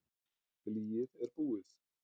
Blýið er búið.